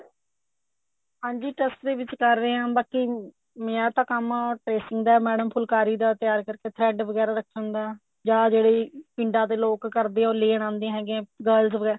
ਹਾਂਜੀ trust ਦੇ ਵਿੱਚ ਕਰ ਰਹੇ ਹਾਂ ਬਾਕੀ ਮੇਰਾ ਤਾਂ ਕੰਮ tracing ਦਾ madam ਫੁਲਕਾਰੀ ਦਾ ਤਿਆਰ ਕਰਕੇ thread ਵਗੈਰਾ ਰੱਖਣ ਦਾ ਜਾ ਜਿਹੜੀ ਪਿੰਡਾ ਦੇ ਲੋਕ ਕਰਦੇ ਉਹ ਲੈਣ ਆਂਦੇ ਹੈਗੇ ਹੈ girls ਵਗੈਰਾ